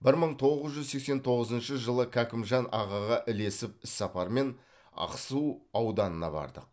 бір мың тоғыз жүз сексен тоғызыншы жылы кәкімжан ағаға ілесіп іссапармен ақсу ауданына бардық